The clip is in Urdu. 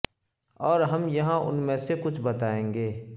اور ہم یہاں ان میں سے کچھ بتائیں گے